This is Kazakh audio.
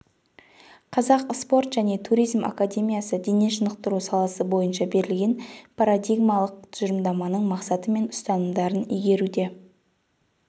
қазақ спорт және туризм академиясы дене шынықтыру саласы бойынша берілген парадигмалық тұжырымдаманың мақсаты мен ұстанымдарын игеруде